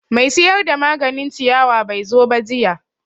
Mai siyar da maganin ciyawa bai zo ba jiya